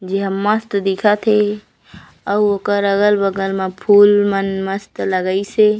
जेहा मस्त दिखत हे अउ ओकर अगल-बगल म फूल मन मस्त लगाइस हे।